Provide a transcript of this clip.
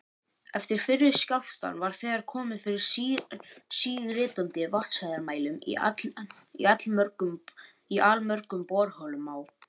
Eftir fyrri skjálftann var þegar komið fyrir síritandi vatnshæðarmælum í allmörgum borholum á